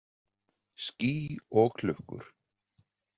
Ský og klukkur.